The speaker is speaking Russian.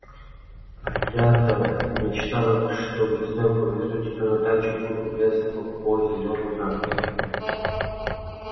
а я-то мечтал что весной повезу тебя на дачу и буду гулять с тобой по зелёной травке